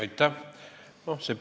Aitäh!